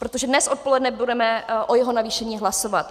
Protože dnes odpoledne budeme o jeho navýšení hlasovat.